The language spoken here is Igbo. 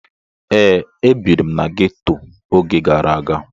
Ee, ebiri m na ghetto oge gara aga.